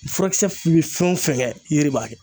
Furakisɛ min bɛ fɛn o fɛn kɛ yiri b'a kɛ